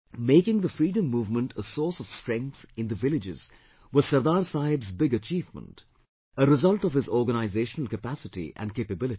Making the freedom movement a source of strength in the villages was Sardar Saheb's big achievement, a result of his organizational capacity and capability